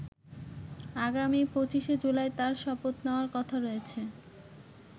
আগামী ২৫শে জুলাই তার শপথ নেওয়ার কথা রয়েছে।